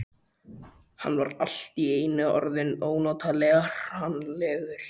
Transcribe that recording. Hann var allt í einu orðinn ónotalega hranalegur.